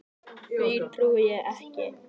Því trúi ég ekki.